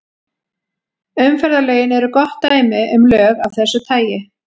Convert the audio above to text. Umferðarlögin eru gott dæmi um lög af þessu tagi.